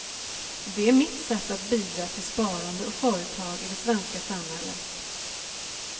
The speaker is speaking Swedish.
Det är mitt sätt att bidra till sparande och företag i det svenska samhället.